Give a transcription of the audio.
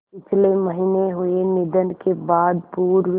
पिछले महीने हुए निधन के बाद पूर्व